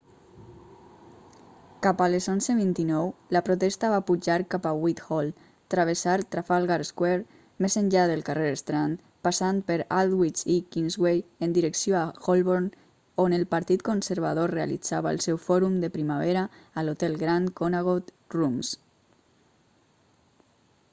cap a les 11:29 la protesta va pujar cap a whithall travessar trafalgar square més enllà del carrer strand passant per aldwych i kingsway en direcció a holborn on el partit conservador realitzava el seu fòrum de primavera a l'hotel grand connaught rooms